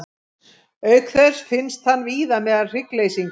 Auk þess finnst hann víða meðal hryggleysingja.